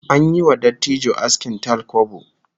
An yi wa dattijo askin talkwabo